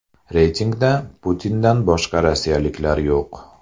Reytingda Putindan boshqa rossiyaliklar yo‘q.